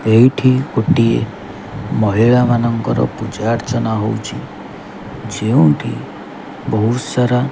ଏଇଠି ଗୋଟିଏ ମହିଳା ମାନଙ୍କର ପୂଜା ଆର୍ଚ ନା ହୋଉଛି ଯେଉଁଠି ବୋହୁତ୍ ସାରା।